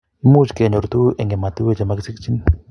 much kenyor tuguk eng' ematinwek che makisikchini